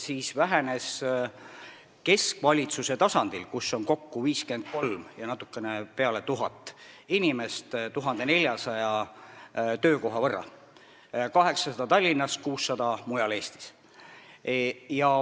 Siis vähenes keskvalitsuse tasandil, kus on kokku 53 000 ja natukene rohkem inimest, 1400 töökohta: 800 Tallinnas ja 600 mujal Eestis.